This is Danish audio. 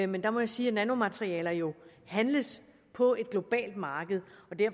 men der må jeg sige at nanomaterialer jo handles på et globalt marked